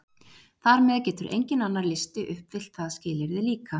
Þar með getur enginn annar listi uppfyllt það skilyrði líka!